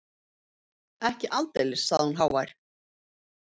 Ekki aldeilis, sagði hún hávær.